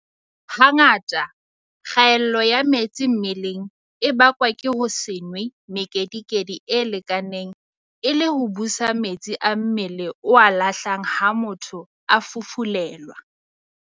Hangata kgaello ya metsi mmeleng e bakwa ke ho se nwe mekedikedi e lekaneng e le ho busa metsi a mmele o a lahlang ha motho a fufulelwa.